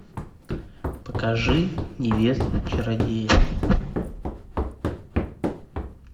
покажи невесту чародея